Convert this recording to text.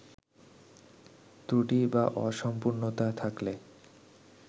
ত্রুটি বা অসম্পূর্ণতা থাকলে